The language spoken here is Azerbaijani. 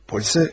Polisə.